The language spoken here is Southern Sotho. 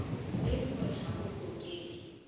leng hore ha ho hlokehe